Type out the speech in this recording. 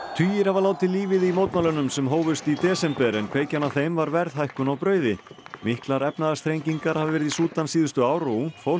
tugir hafa látið lífið í mótmælunum sem hófust í desember en kveikjan að þeim var verðhækkun á brauði miklar efnahagsþrengingar hafa verið í Súdan síðustu ár og ungt fólk